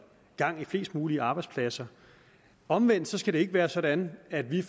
gang i flest mulige arbejdspladser omvendt skal det ikke være sådan at vi